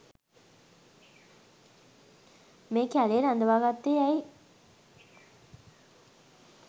මේ කැලේ රඳවාගත්තෙ ඇයි?